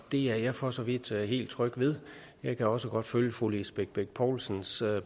er jeg for så vidt helt tryg ved jeg kan også godt følge fru lisbeth bech poulsens